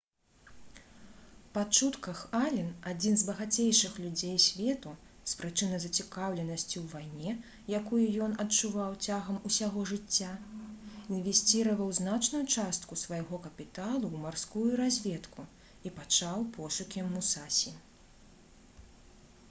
па чутках ален адзін з багацейшых людзей свету з прычыны зацікаўленасці ў вайне якую ён адчуваў цягам усяго жыцця інвесціраваў значную частку свайго капіталу ў марскую разведку і пачаў пошукі «мусасі»